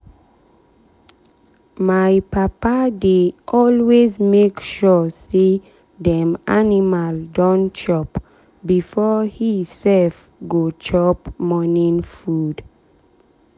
my papa dey always make sure say dem animal don chop before he sef go chop morning food.